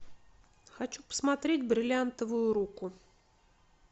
хочу посмотреть бриллиантовую руку